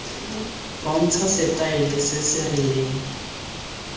bontsha setaele se se rileng